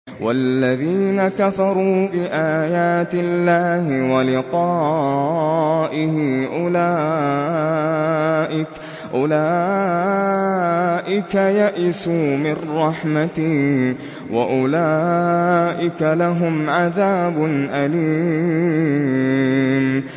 وَالَّذِينَ كَفَرُوا بِآيَاتِ اللَّهِ وَلِقَائِهِ أُولَٰئِكَ يَئِسُوا مِن رَّحْمَتِي وَأُولَٰئِكَ لَهُمْ عَذَابٌ أَلِيمٌ